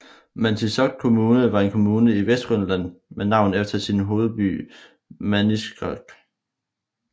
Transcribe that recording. Maniitsoq Kommune var en kommune i Vestgrønland med navn efter sin hovedby Maniitsoq